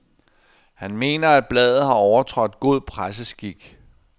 Han mener, at bladet har overtrådt god presseskik.